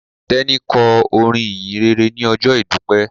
Teni kọ olorin ìhìnrere ní ojó idupẹ.